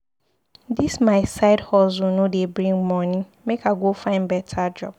Dis my side hustle no dey bring moni, make I go find beta job